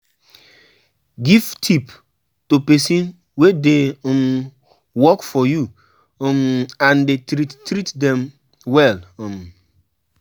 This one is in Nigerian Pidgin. give tip to persin wey de um work for you um and dey treat treat them well um